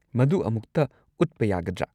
ꯃꯗꯨ ꯑꯃꯨꯛꯇ ꯎꯠꯄ ꯌꯥꯒꯗ꯭ꯔꯥ?